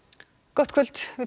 gott kvöld við